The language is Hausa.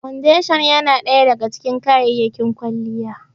Foundation ya na ɗaya daga cikin kayyayakin kwalliya